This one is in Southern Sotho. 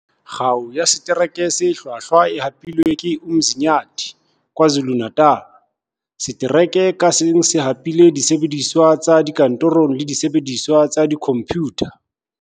Kgao ya Setereke se Hlwahlwa e hapuwe ke Umzinyathi KwaZuluNatal. Setereke kang ka seng se hapile disebediswa tsa dikantorong le disebe diswa tsa dikhomphutha.